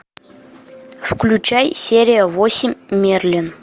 включай серия восемь мерлин